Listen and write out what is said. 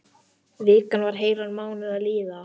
Vikan var heilan mánuð að líða.